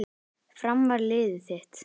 Fram var liðið þitt.